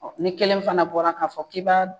Ɔ ni kelen fana bɔra k'a fɔ k'i ba